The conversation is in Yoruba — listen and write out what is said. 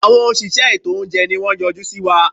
Àwọn òṣìṣẹ́ ètò óúnjẹ ni wọ́n yọjú síwa.